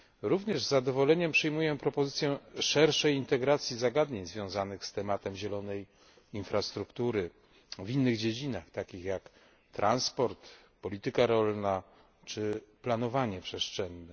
Również z zadowoleniem przyjmuję propozycję szerszej integracji zagadnień związanych z tematem zielonej infrastruktury w innych dziedzinach, takich jak transport, polityka rolna czy planowanie przestrzenne.